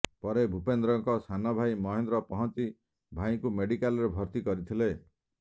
ପରେ ଭୂପେନ୍ଦ୍ରଙ୍କ ସାନଭାଇ ମହେନ୍ଦ୍ର ପହଞ୍ଚି ଭାଇଙ୍କୁ ମେଡିକାଲରେ ଭର୍ତ୍ତି କରିଥିଲେ